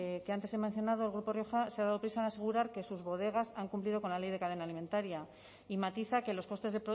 que antes he mencionado el grupo rioja se ha dado prisa en asegurar que sus bodegas han cumplido con la ley de cadena alimentaria y matiza que los costes